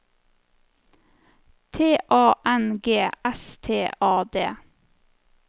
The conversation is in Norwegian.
T A N G S T A D